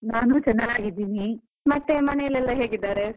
ನಾನು ಚೆನ್ನಾಗಿದ್ದೀನಿ. ಮತ್ತೆ ಮನೆಯಲೆಲ್ಲ ಹೇಗಿದ್ದಾರೆ?